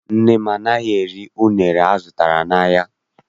Nna m anaghị eri unere azụtara n'ahịa.